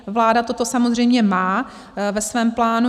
Vláda toto samozřejmě má ve svém plánu.